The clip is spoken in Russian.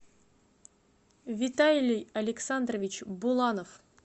виталий александрович буланов